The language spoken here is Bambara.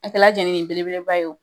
A kɛla jɛnini belebeleba ye o